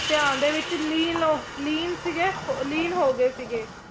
ਧਿਆਨ ਦੇ ਵਿੱਚ ਲੀਨ ਲੀਨ ਸੀਗੇ ਲੀਨ ਹੋ ਗਏ ਸੀਗੇ।